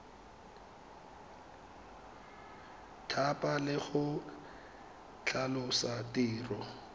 thapa le go tlhalosa tiro